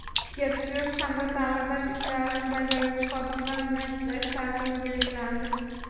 ishga tushirish hamda ta’mirlash ishlarini bajaruvchi xodimlar bilan ishlash tartibi belgilandi.